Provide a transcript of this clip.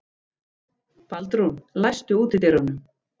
Baldrún, læstu útidyrunum.